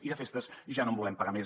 i de festes ja no en volem pagar més